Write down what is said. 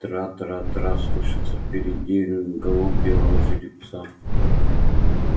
трра-трра-трра слышится впереди галоп белого жеребца